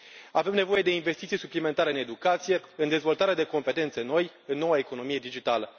Avem nevoie de investiții suplimentare în educație, în dezvoltarea de competențe noi, în noua economie digitală.